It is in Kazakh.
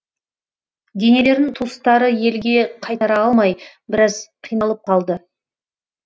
денелерін туыстары елге қайтара алмай біраз қиналып қалды